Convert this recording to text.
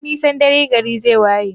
Koman nisan dare gari zai waye